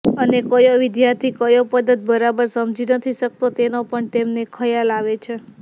અને કયો વિદ્યાર્થી કયો પદાર્થ બરાબર સમજી નથી શકતો તેનો પણ તેમને ખ્યાલ આવે છે